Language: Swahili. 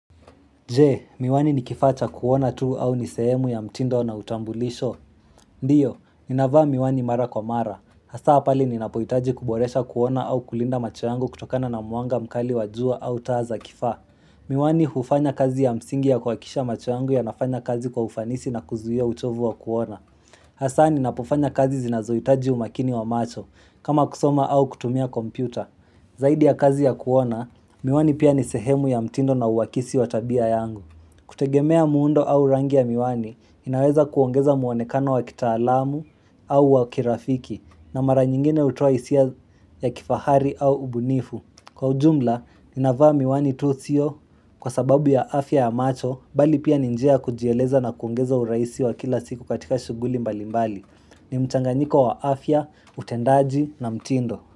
Je, miwani ni kifaa cha kuona tu au nisehemu ya mtindo na utambulisho? Ndiyo, ninavaa miwani mara kwa mara. Hasa pale ninapoitaji kuboresha kuona au kulinda macho yangu kutokana na mwanga mkali wajua au taa za kifa. Miwani hufanya kazi ya msingi ya kuhakisha macho yangu yanafanya kazi kwa ufanisi na kuzuia uchovu wa kuona. Hasa ninapofanya kazi zinazoitaji umakini wa macho, kama kusoma au kutumia kompyuta. Zaidi ya kazi ya kuona, miwani pia ni sehemu ya mtindo na uwakisi watabia yangu. Kutegemea muundo au rangi ya miwani, inaweza kuongeza mwonekano wa kitaalamu au wa kirafiki na mara nyingine utoa hisia ya kifahari au ubunifu. Kwa ujumla, ninavaa miwani tu sio kwa sababu ya afya ya macho, bali pia ninjia ya kujieleza na kuongeza urahisi wa kila siku katika shughuli mbalimbali. Ni mchanganyiko wa afya, utendaji na mtindo.